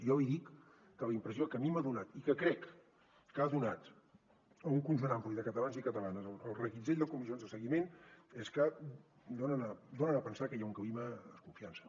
jo li dic que la impressió que a mi m’ha donat i que crec que ha donat a un conjunt ampli de catalans i catalanes el reguitzell de comissions de seguiment és que donen a pensar que hi ha un clima de desconfiança